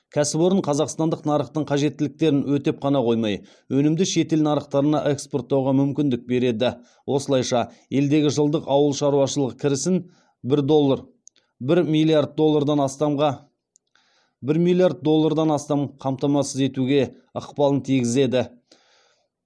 кәсіпорын қазақстандық нарықтың қажеттіліктерін өтеп қана қоймай өнімді шетел нарықтарына экспорттауға мүмкіндік береді осылайша елдегі жылдық ауыл шаруашылығы кірісін бір миллиард доллардан астам қамтамасыз етуге ықпалын тигізеді